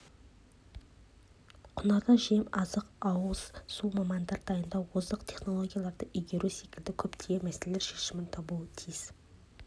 құнарлы жем-азық ауыз су мамандар дайындау озық технологияларды игеру секілді көптеген мәселелер шешімін табуы тиіс